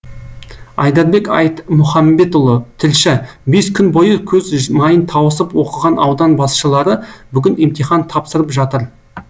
айдарбек айтмұхамбетұлы тілші бес күн бойы көз майын тауысып оқыған аудан басшылары бүгін емтихан тапсырып жатыр